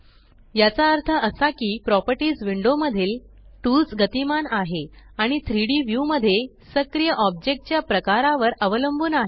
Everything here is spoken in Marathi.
याचा अर्थ असा की प्रॉपर्टीस विंडो मधील टूल्स गतिमान आहे आणि 3Dव्यू मध्ये सक्रिय ओब्जेकटच्या प्रकारावर अवलंबुन आहे